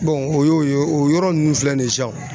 o y'o ye o yɔrɔ ninnu filɛ nin ye sisan